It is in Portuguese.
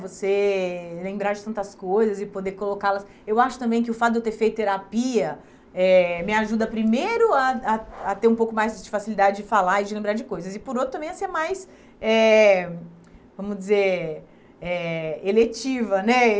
Você lembrar de tantas coisas e poder colocá-las... Eu acho também que o fato de eu ter feito terapia eh me ajuda, primeiro, a a a ter um pouco mais de facilidade de falar e de lembrar de coisas e, por outro, também a ser mais eh, vamos dizer eh, eletiva, né?